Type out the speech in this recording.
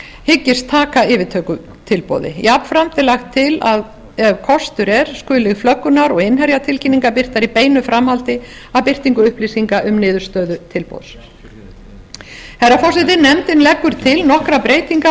hyggist taka yfirtökutilboði jafnframt er lagt til að ef kostur er skuli flöggunar og innherjatilkynningar birtar í beinu framhaldi af birtingu upplýsinga um niðurstöður tilboðs herra forseti nefndin leggur til nokkrar breytingar